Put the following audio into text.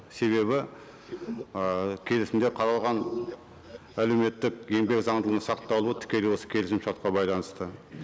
себебі ы келісімде қаралған әлеуметтік еңбек заңдылығын сақталуы тікелей осы келісім шартқа байланысты